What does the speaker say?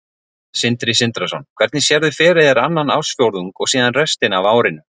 Sindri Sindrason: Hvernig sérðu fyrir þér annan ársfjórðung og síðan restina af árinu?